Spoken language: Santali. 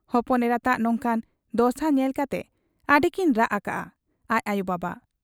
ᱦᱚᱯᱚᱱ ᱮᱨᱟᱛᱟᱜ ᱚᱱᱠᱟᱱ ᱫᱚᱥᱟ ᱧᱮᱞ ᱠᱟᱛᱮ ᱟᱹᱰᱤ ᱠᱤᱱ ᱨᱟᱜ ᱟᱠᱟᱜ ᱟ ᱟᱡ ᱟᱭᱚᱵᱟᱵᱟ ᱾